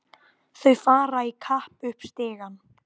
Þau fara í kapp upp stigann.